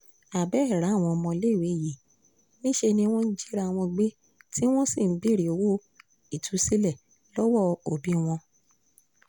abẹ́ẹ̀ ráwọn ọmọléèwé yìí níṣẹ́ ni wọ́n jìra wọn gbé tí wọ́n sì ń béèrè owó ìtúsílẹ̀ lọ́wọ́ òbí wọn